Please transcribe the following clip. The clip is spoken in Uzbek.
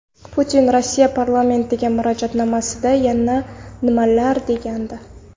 Putin Rossiya parlamentiga murojaatnomasida yana nimalar degandi?